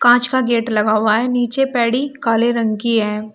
कांच का गेट लगा हुआ है नीचे पैड़ी काले रंग की है।